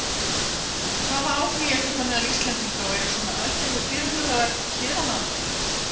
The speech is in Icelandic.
En hvaða áhugi er þetta meðal Íslendinga og eru svona aðgerðir fyrirhugaðar hér á landi?